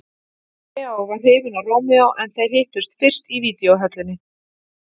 Leó var hrifinn af Rómeó en þeir hittust fyrist í videóhöllinni.